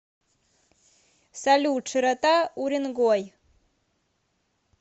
салют широта уренгой